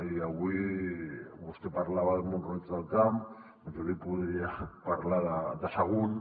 i avui vostè parlava de mont roig del camp doncs jo li podria parlar de sagunt